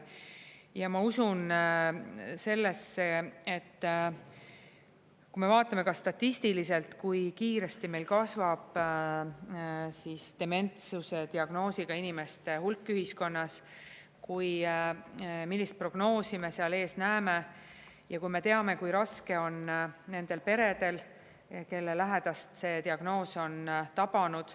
Ja ma usun sellesse, et kui me vaatame ka statistiliselt, kui kiiresti meil kasvab dementsuse diagnoosiga inimeste hulk ühiskonnas, millist prognoosi me seal ees näeme, ja kui me teame, kui raske on nendel peredel, kelle lähedast see diagnoos on tabanud …